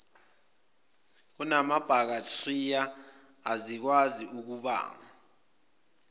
kunamabhakthiriya ezikwazi ukubanga